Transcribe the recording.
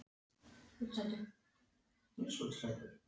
Og langaði þig til að hjálpa?